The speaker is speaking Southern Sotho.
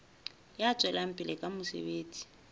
ya tswelang pele ka mosebetsi